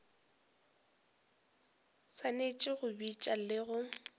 swanetše go bitša le go